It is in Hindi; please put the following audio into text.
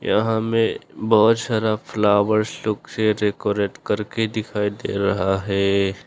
यहां में बहुत सारा फ्लॉवरस लोग से डेकोरेट करके दिखाई दे रहा है।